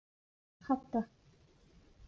Hadda